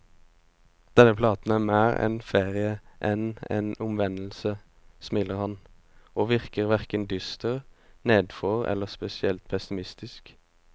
Denne platen er mer en ferie enn en omvendelse, smiler han, og virker hverken dyster, nedfor eller spesielt pessimistisk.